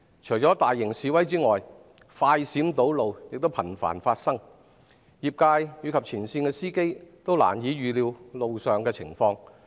除了大型示威外，快閃堵路亦頻繁發生，業界及前線司機均難以預料路上情況。